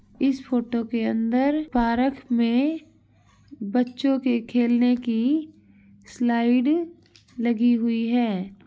इस फोटो के अंदर पारक में बच्चों के खेलने की स्लाइड लगी हुई है।